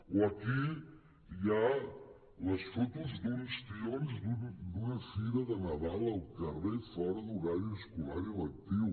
o aquí hi ha les fotos d’uns tions d’una fira de nadal al carrer fora d’horari escolar i lectiu